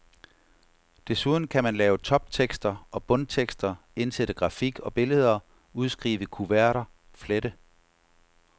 Desuden kan man lave toptekster og bundtekster, indsætte grafik og billeder, udskrive kuverter, flette.